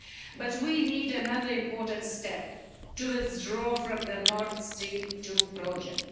But we need another important step to withdraw from the Nord Stream 2 project.